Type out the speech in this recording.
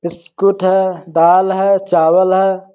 Biscuit है दाल है चावल है।